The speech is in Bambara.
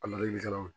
A ladilikanw